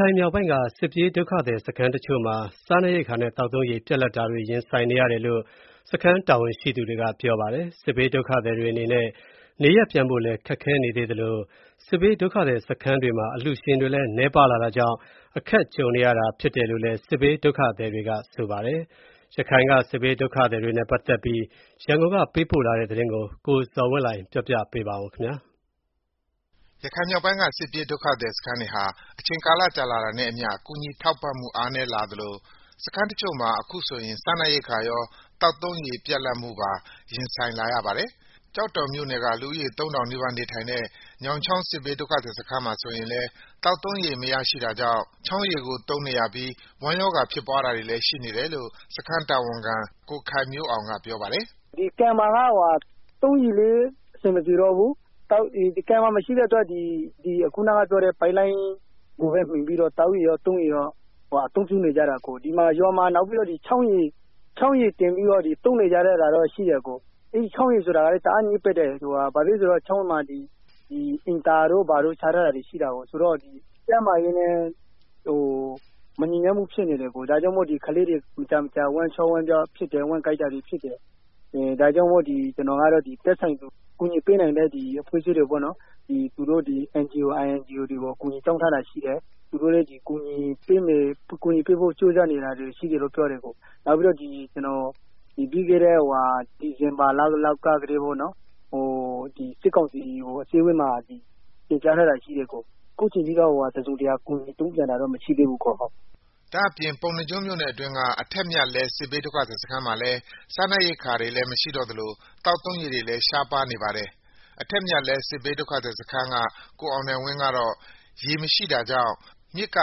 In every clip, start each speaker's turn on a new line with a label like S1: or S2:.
S1: ခိုင်မြောက်ပိုင်း စစ်ပြေးဒုက္ခသည်စခန်းတချို့မှာ စားနပ်ရိက္ခာနဲ့သောက်သုံးရေ ပြတ်လပ်နေပြီလို့ စခန်းတာဝန်ရှိသူတွေကပြောပါတယ်။ စစ်ဘေးဒုက္ခ သည်တွေအနေနဲ့ နေရပ်ပြန်ဖို့ ခက်ခဲနေသေးသလို စစ်ဘေးဒုက္ခသည်စခန်းတွေမှာ အလှူရှင်တွေလည်း နည်းပါးလာတာကြောင့် အခက်ကြုံနေရတာဖြစ်တယ်လို့လည်း စစ်ဘေးဒုက္ခသည်တွေက ပြောပါတယ်။ ရခိုင်က စစ်ဘေးဒုက္ခသည်တွေနဲ့ ပတ်သတ်ပြီးရန်ကုန်ကပေးပို့တဲ့သတင်းကို ကိုဇော်ဝင်းလှိုင်က တင်ပြပေးထားပါတယ်။
S2: ရခိုင်မြောက်ပိုင်း စစ်ပြေးဒုက္ခသည်စခန်းတွေဟာ အချိန်ကြာလာတာနဲ့အမျှ ကူညီထောက်ပံ့မှုအားနည်းလာသလို စခန်းတချို့မှာ ခုဆိုရင် စားနပ်ရိက္ခာရော သောက်သုံးရေပါ ပြတ်လပ်မှု ရင်ဆိုင်လာရပါတယ်။ ကျောက်တော်မြို့နယ်က လူဦးရေ ၃,၀၀၀ နီးပါးနေထိုင်တဲ့ ညောင်ချောင်း စစ်ဘေးဒုက္ခသည်စခန်းမှာဆိုရင်လည်း သောက်သုံးရေမရှိတာကြောင့် ချောင်းကိုသုံးနေရပြီး ဝမ်းရောဂါဖြစ်ပွားတာတွေလည်း ရှိတယ်လို့ စခန်းတာဝန်ခံ ကိုခိုင်မျိုးအောင်ကပြောပါတယ်
S3: ။ “ကန်မှာက သောက်ရေလည်းမရတော့ဘူး။ သုံးရေလည်းမရတော့ဘူး။ အဲဒါကြောင့် ချောင်းရေကိုပဲသုံးနေရတယ်။ အဲဒီချောင်းရေဆိုတာကလည်း တအား ညစ်ပတ်တယ်။ ဘာလို့လဲဆိုတော့ ချောင်းမှာ အိမ်သာတို့ဘာတို့ချထားတာရှိတယ်ဆိုတော့ ကျန်းမာရေးနဲ့မညီညွတ်မှုဖြစ်နေတယ်၊ ဒါကြောင့်မလို့ ကလေးတွေ မကြာမကြာ ဝမ်းရောဂါတွေဖြစ်တယ်။ ကျနော်ကတော့ ကူညီပေးနိုင်မယ့် NGO INGO တွေကို အကူအညီတောင်းထားတာရှိတယ်။ သူတို့လည်း ကူညီပေးဖို့ ကြိုးစားနေတာရှိတယ်လို့ပြောတယ်။ နောက်ပြီးတော့ ကျနော် ဒီဇင်ဘာလလောက်ကတည်းက စစ်ကောင်စီကို အစည်းအဝေးမှာ တင်ပြထားတာရှိတယ် အစ်ကို။ အခုအချိန်ထိတော့ တစုံတရာ ကူညီပေးတာတော့မရှိသေးဘူး”
S2: ဒါ့အပြင် ပုဏ္ဏားကျွန်းမြို့နယ်အတွင်းက အထက်မြတ်လှဲ စစ်ဘေးဒုက္ခသည်စခန်းမှာလည်း စားနပ်ရိက္ခာတွေလည်း မရှိတော့သလို သောက်သုံးရေတွေလည်း ရှားပါးနေပါတယ်။ အထက်မြတ်လှဲစစ်ဘေးဒုက္ခသည်စခန်းက ကိုအောင်နိုင်ဝင်းကတော့ ရေမရှိတာကြောင့် မြစ်က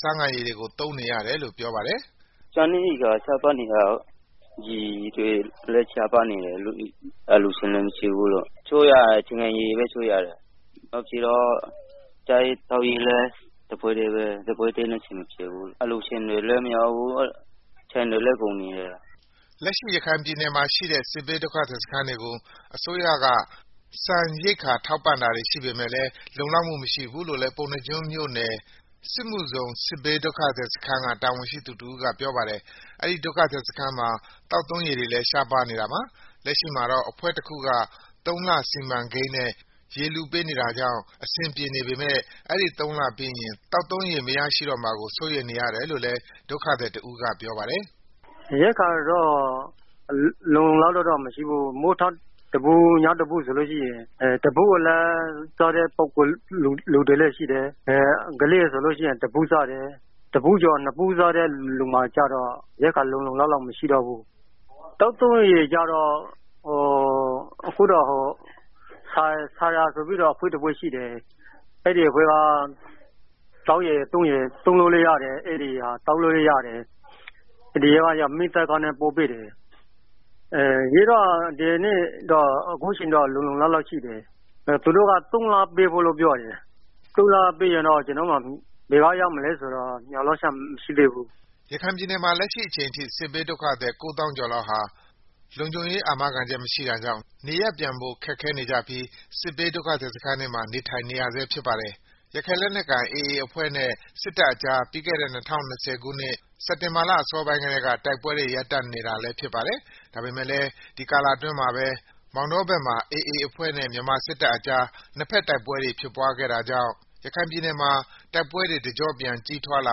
S2: ဆားငံရေတွေကို သုံးနေရတယ်လို့ ပြောပါတယ်။
S1: အထက်မြတ်လှဲစစ်ဘေးဒုက္ခသည်စခန်း ကိုအောင်နိုင်ဝင်းအသံ။ “စားနပ်ရိက္ခာကော ရေတွေကောရှားပါးနေတယ်။ အလှူရှင်တွေလည်းမရှိဘူး၊ ရေချိုးရတာလည်း ဆားငံရေကို ချိုးနေရတယ်၊ စားရေးသောက်ရေးလည်းအဆင်မပြေဘူး။ အလှူရှင်တွေလည်း မရောက်ဘူး။ ဆန်တွေလည်းကုန်နေတယ်”
S2: လက်ရခိုင်ပြည်နယ်မှာ ရှိတဲ့ စစ်ဘေးဒုက္ခသည်စခန်းတွေကို အစိုးရက ဆန်ရိက္ခာ ထောက်ပံ့တာတွေရှိပေမယ့်လည်း လုံလောက်မှုမရှိဘူးလို့လည်း ပုဏ္ဏားကျွန်းမြို့နယ် စစ်မှုဇုန် စစ်ဘေးဒုက္ခသည်းစခန်းက တာဝန်ရှိသူတဦးကပြောပါတယ်။ အဲဒီဒုက္ခသည်စခန်းမှာ သောက်သုံးရေတွေလည်း ရှားပါးနေတာပါ။ လက်ရှိမှာတော့ အဖွဲ့တခုက သုံးလစီမံကိန်းနဲ့ ရေလှူပေးနေတာကြောင့် အဆင်ပြေနေပေမယ့် အဲဒီသုံးလပြီးရင် သောက်သုံးမရရှိတော့မှာကို စိုးရိမ်နေရတယ်လို့လည်း ဒုက္ခသည်တဦးကပြောပါတယ်
S1: ။ “ရိက္ခာကလည်းလုံလုံလောက်မရှိဘူး။ မနက်တဗူး၊ ညတဗူးပဲ ပေးထားတာဆိုတော့ အဲထက်ပိုစားတဲ့သူတွေမှာကျတော့ ရိက္ခာလုံလုံလောက်လောက်မရှိဘူး။ သောက်သုံးရေကျတော့ ဆာရာဆိုတဲ့ အဖွဲ့ တစ်ခုက သောက်ရေ သုံးရေ တွေကို ကားနဲ့တင်ပြီးတော့ ပို့ပေးနေတဲ့ အတွက် အခုအချိန်ထိတော့ လုံလောက်နေသေးတယ်၊ ဒါပေမယ့်သူတို့ကလည်း သုံးလပဲပေးမယ်ဆိုတော့ အဲဒီသုံးလ ပြီးရင် ရေဘယ်ကရမလဲ ကျနော်တို့မှာ
S2: မျော်လင့်ချက်မရှိသေးဘူး” ရခိုင်ပြည်နယ်မှာ လက်ရှိအချိန်ထိ စစ်ဘေးဒုက္ခသည် ၉၀,၀၀၀ ကျော်လောက် ဟာ လုံခြုံရေးအာမခံချက်မရှိတာကြောင့် နေရပ်ပြန်ဖို့ ခက်ခဲနေကြပြီး စစ်ဘေးဒုက္ခသည်စခန်းတွေမှာ နေထိုင်နေဆဲဖြစ်ပါတယ်။ ရခိုင်လက်နက်ကိုင် AA အဖွဲ့နဲ့စစ်တပ်ကြား ပြီးခဲ့တဲ့ ၂၀၂၀ ခုနှစ် စက်တင်ဘာလ အစောပိုင်းကကတည်းက တိုက်ပွဲတွေ ရပ်တန့်နေတာလည်းဖြစ်ပါတယ်။ ဒါပေမယ့်လည်း ဒီလအတွင်းမှပဲ မောင်တောဘက်မှာ AA အဖွဲ့နဲ့ မြန်မာစစ်တပ်ကြား နှစ်ဘက်တိုက်ပွဲတွေ ဖြစ်ပွားခဲ့တာကြောင့် ရခိုင်ပြည်နယ်တိုက်ပွဲ တကြော့ပြန်ကြီးထွားလာ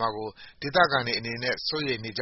S2: မှာကို ဒေသခံတွေအနေနဲ့ စိုးရိမ်နေကြ